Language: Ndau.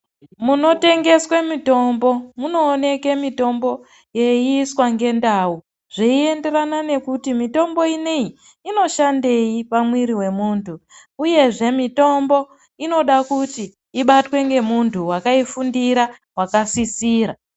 Muno tengeswe mitombo munooneke mitombo yei iswa nge ndau zvei enderana nekuti mitombo ineyi ino shandei pamwiri we mumhu uyezve mitombo inoda kuti ibatwe nge muntu wakaifundira waka sisira .